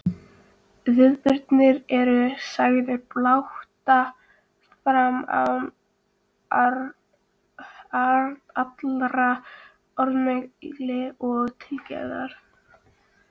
Viðburðirnir eru sagðir blátt áfram án allrar orðamælgi eða tilgerðar.